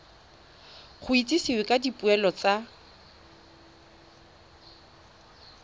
go itsisiwe ka dipoelo tsa